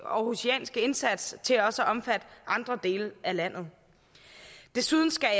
århusianske indsats til også at omfatte andre dele af landet desuden skal